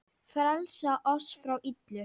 Frelsa oss frá illu!